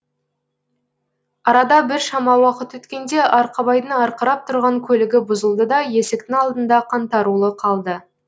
арада біршама уақыт өткенде арқабайдың арқырап тұрған көлігі бұзылды да есіктің алдында қаңтарулы қалды